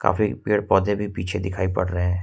काफी पेड़-पौधे भी पीछे दिखाई पड़ रहे हैं।